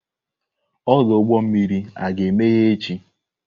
Ọdụ ụgbọ mmiri aga-emeghe echi?